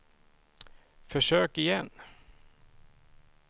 försök igen